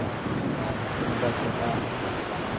Nossa, imagina, se você não vai comer a berinjela.